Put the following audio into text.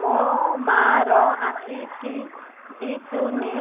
ମୋ ମା ର ଆଖି କି ଦିସୁନି